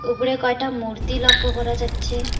উপরে কয়টা মূর্তি লক্ষ্য করা যাচ্ছে।